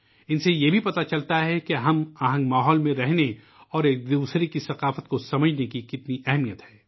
ان سے یہ بھی پتہ چلتا ہے کہ ہم آہنگی کے ماحول میں رہنا اور ایک دوسرے کی ثقافت کو سمجھنا کتنا اہم ہے